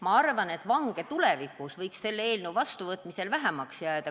Ma arvan, et selle eelnõu vastuvõtmisel võiks vange tulevikus vähemaks jääda.